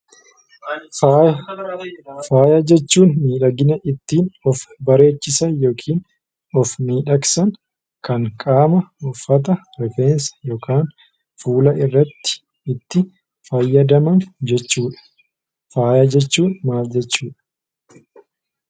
Faaya. Faaya jechuun midhaginaa ittin of bareechisaan yookiin of midhagsaan kan qaama, uffata, rifeensa yookaan fuulaa irratti faayadamaan jechuudha. Faaya jechuun maal jechuudha?